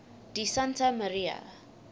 di santa maria